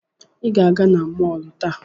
Ị ga-aga na mọọlụ taa!